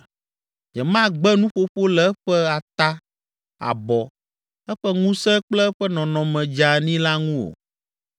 “Nyemagbe nuƒoƒo le eƒe ata, abɔ, eƒe ŋusẽ kple eƒe nɔnɔme dzeani la ŋu o.